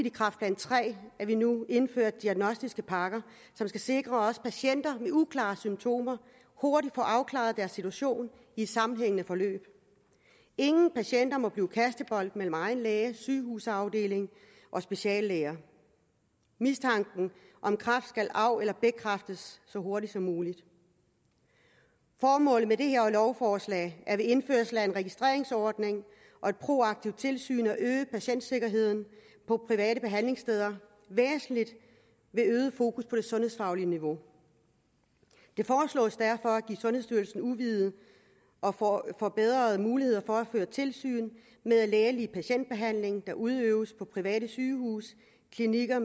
i kræftplan tre indførte diagnostiske pakker som skal sikre at også patienter med uklare symptomer hurtigt får afklaret deres situation i et sammenhængende forløb ingen patienter må blive kastebold mellem egen læge sygehusafdeling og speciallæger mistanken om kræft skal af eller bekræftes så hurtigt som muligt formålet med det her lovforslag er ved indførelse af en registreringsordning og et proaktivt tilsyn at øge patientsikkerheden på private behandlingssteder væsentligt ved øget fokus på det sundhedsfaglige niveau det foreslås derfor at give sundhedsstyrelsen udvidede og og forbedrede muligheder for at føre tilsyn med at lægelig patientbehandling der udøves på private sygehuse klinikker